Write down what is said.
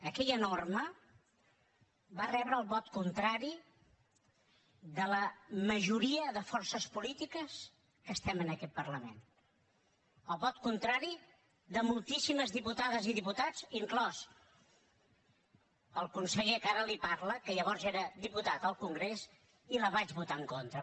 aquella norma va rebre el vot contrari de la majoria de forces polítiques que estem en aquest parlament el vot contrari de moltíssimes diputades i diputats inclòs el del conseller que ara li parla que llavors era diputat al congrés i que hi vaig votar en contra